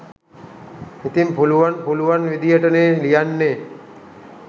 ඉතිං පුළුවන් පුළුවන් විදියටනේ ලියන්නේ.